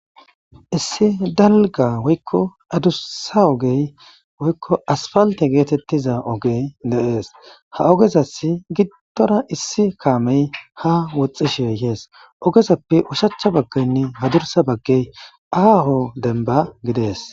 Issi dalga woykko adursa ogey woykko asfalte geetettiza ogey de7ees ha ogezasi giddora issi kaamey ha woxxishey hees ogezappe ushacha bagkeynne hadursa bagkey aaho denba gidees.